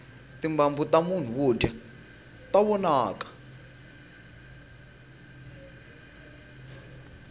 timbambu tamunhu wo o dya ta vonaka